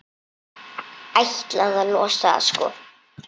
Ætlaði að losa það, sko.